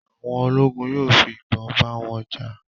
àwọn ologun yóò fi ibon ba wọn ja